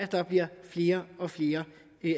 der bliver flere og flere